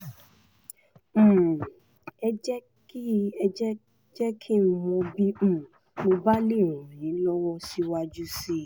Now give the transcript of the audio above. um ẹ jẹ́ kí jẹ́ kí n mọ̀ bí um mo bá lè ràn yín lọ́wọ́ síwájú sí i